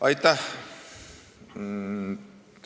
Aitäh!